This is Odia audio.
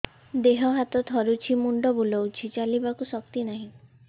ଦେହ ହାତ ଥରୁଛି ମୁଣ୍ଡ ବୁଲଉଛି ଚାଲିବାକୁ ଶକ୍ତି ନାହିଁ